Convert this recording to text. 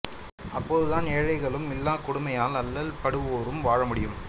அப்போதுதான் ஏழைகளும் இல்லாக் கொடுமையால் அல்லல் படுவோரும் வாழ முடியும்